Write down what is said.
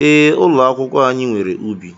Ee, ụlọ akwụkwọ anyị nwere ubi.